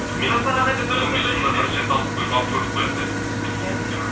он бес жылда бірінші рет алып көрдік қой енді иә